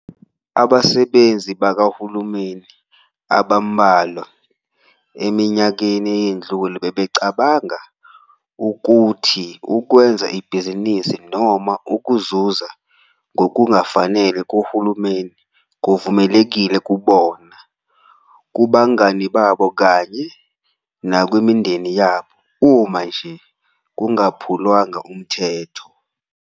Abasebenzi bakahulumeni abambalwa eminyakeni eyedlule bebecabanga ukuthi ukwenza ibhizinisi noma ukuzuza ngokungafanele kuHulumeni kuvumelekile kubona, kubangani babo kanye nakwimindeni yabo, uma nje kungaphulwanga umthetho.